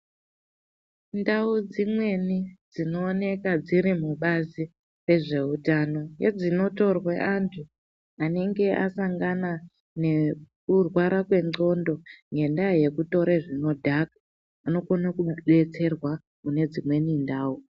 Ndawu dzimweni dzinooneka dziri mubazi rezveutano ngedzinotorwe andu anenge asangana ngekurwara kwengqondo ngendaa yekutore zvinodhaka anokone kubetserwa kune dzimweni ndawu.